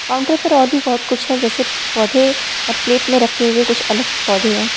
Counter पर और भी बहुत कुछ है जैसे पौधे और प्लेट में रखे हुए कुछ अलग पौधे हैं।